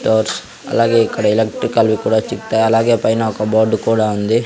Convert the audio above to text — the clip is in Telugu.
ఫ్లవర్స్ అలాగే ఇక్కడ ఎలక్ట్రికల్ వి కూడా చిక్తయ్ అలాగే పైన ఒక బోర్డు కూడా ఉంది.